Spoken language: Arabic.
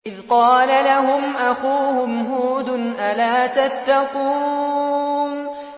إِذْ قَالَ لَهُمْ أَخُوهُمْ هُودٌ أَلَا تَتَّقُونَ